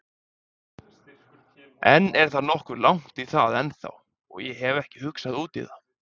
En það er nokkuð langt í það ennþá og ég hef ekki hugsað útí það.